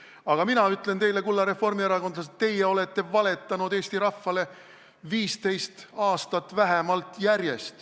Aga mina ütlen teile, kulla reformierakondlased, et teie olete valetanud Eesti rahvale vähemalt 15 aastat järjest.